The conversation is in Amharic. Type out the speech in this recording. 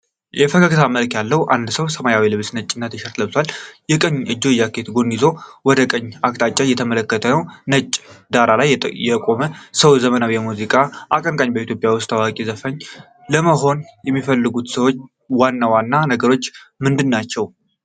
የፈገገታ መልክ ያለው ሰው የሰማያዊ ልብስና ነጭ ቲሸርት ለብሷል። የቀኝ እጁን የጃኬት ጎን ይዞ ወደ ቀኝ አቅጣጫ እየተመለከተ ነው። ነጭ ዳራ ላይ የቆመው ሰው የዘመናዊ የሙዚቃ አቀንቃኝበኢትዮጵያ ውስጥ ታዋቂ ዘፋኝ ለመሆን የሚያስፈልጉት ዋና ዋና ነገሮች ምንድናቸው?